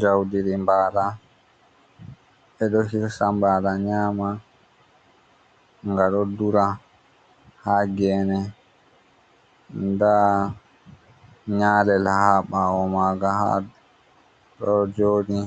Jaudiri bala be do hirsa bala nyama, ga do dura ha gene da nyalel ha bawo maga ha do jodi